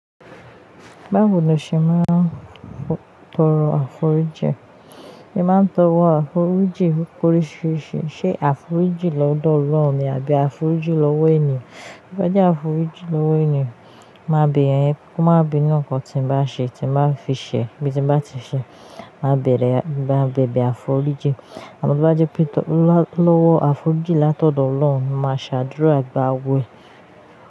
Bawo ni o ṣe máa ń tọrọ àforíjì? Ẹ máa ń tọwọ àforíjì oríṣiríṣi. Ṣé àforíjì lọ́dọ̀ Ọlọ́run ni àbí àforíjì lọ́wọ́ ènìyàn? Bí ó bá jẹ́ àforíjì lọ́wọ́ ènìyàn, máa bi ẹ̀, ko máa bi inu in kan tí ń bá ṣe, tí ń bá fi ṣẹ, bí tí ń bá ti ṣẹ. Máa bẹ̀rẹ̀, máa bẹ̀bẹ̀ àforíjì. Àbí bá jẹ́ pé lọ́wọ́ àforíjì látọ̀dọ̀ Ọlọ́run, mo máa ṣàdúró àgbà wẹ.